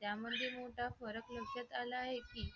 त्यामध्ये मोठा फरक लक्षात आला आहे की